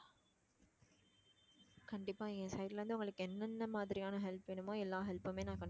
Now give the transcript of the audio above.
கண்டிப்பா என் side ல இருந்து உங்களுக்கு என்னென்ன மாதிரியான help வேணுமோ எல்லா help மே நான்